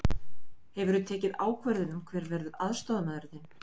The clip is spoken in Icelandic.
Hefurðu tekið ákvörðun um hver verður aðstoðarmaður þinn?